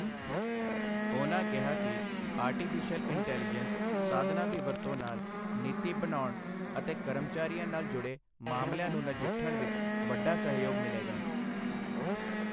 ਉਹਨਾਂ ਕਿਹਾ ਕਿ ਆਰਟੀਫਿਸਿ਼ਅਲ ਇੰਟੈਲੀਜੈਂਸ ਸਾਧਨਾਂ ਦੀ ਵਰਤੋਂ ਨਾਲ ਨੀਤੀ ਬਣਾਉਣ ਅਤੇ ਕਰਮਚਾਰੀਆਂ ਨਾਲ ਜੁੜੇ ਮਾਮਲਿਆਂ ਨੂੰ ਨਜਿੱਠਣ ਵਿੱਚ ਵੱਡਾ ਸਹਿਯੋਗ ਮਿਲੇਗਾ।